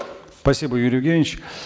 спасибо юрий евгеньевич